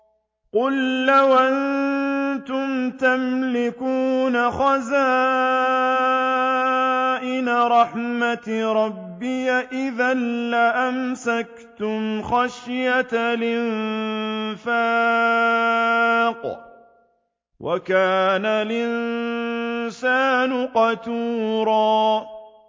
قُل لَّوْ أَنتُمْ تَمْلِكُونَ خَزَائِنَ رَحْمَةِ رَبِّي إِذًا لَّأَمْسَكْتُمْ خَشْيَةَ الْإِنفَاقِ ۚ وَكَانَ الْإِنسَانُ قَتُورًا